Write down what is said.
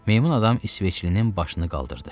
Meymun adam isveçlinin başını qaldırdı.